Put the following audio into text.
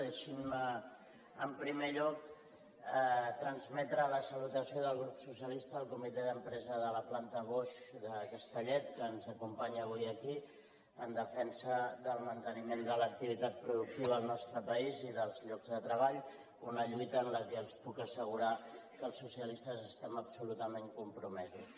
deixin me en primer lloc transmetre la salutació del grup socialista al comitè d’empresa de la planta bosch de castellet que ens acompanya avui aquí en defensa del manteniment de l’activitat productiva al nostre país i dels llocs de treball una lluita en què els puc assegurar que els socialistes estem absolutament compromesos